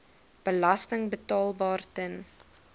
belasting betaalbaar ten